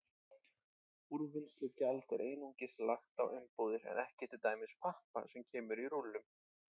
Úrvinnslugjald er einungis lagt á umbúðir en ekki til dæmis pappa sem kemur í rúllum.